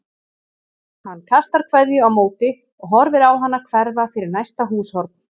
Hann kastar kveðju á móti og horfir á hana hverfa fyrir næsta húshorn.